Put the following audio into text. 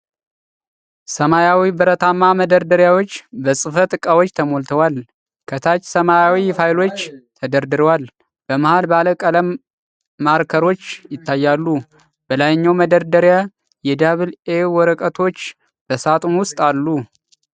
ሰማያዊ ብረታማ መደርደሪያዎች በጽህፈት ዕቃዎች ተሞልተዋል። ከታች ሰማያዊ ፋይሎች ተደርድረዋል፤ በመሃል ባለ ቀለም ማርከሮች ይታያሉ። በላይኛው መደርደሪያ የ"Double A" ወረቀቶች በሳጥን ውስጥ አሉ።